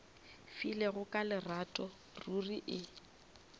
filego ka lerato ruri e